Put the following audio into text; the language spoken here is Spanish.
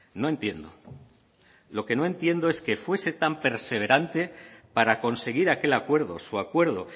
no entiendo lo que no entiendo es que fuese tan perseverante para conseguir aquel acuerdo su acuerdo